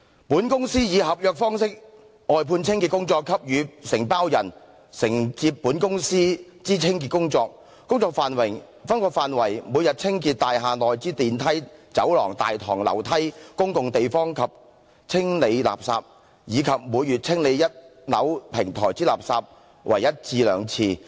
"本公司以合約方式外判清潔工作給予承包人，承接本公司()之清潔工作，工作範圍，每日清潔大廈內之電梯、走廊、大堂、樓梯、公共地方及清理垃圾，以及每月清理一樓平台之垃圾為一至兩次。